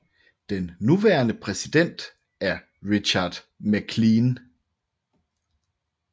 Den nuværende præsident er Richard MacLean